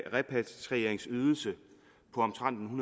en repatrieringsydelse på omtrent